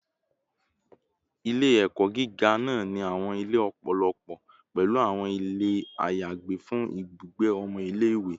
Ile-ẹkọ giga naa ni awọn ile lọpọlọpọ, pẹlu awọn ile ayagbe fun ibugbe ọmọ ile-iwe